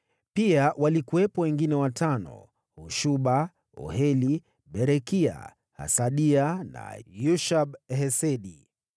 Pia walikuwepo wengine watano: Hashuba, Oheli, Berekia, Hasadia na Yushab-Hesedi.